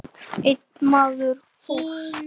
Einn maður fórst.